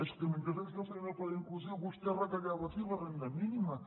és que mentre ells no feien el pla d’inclusió vostè retallava aquí la renda mínima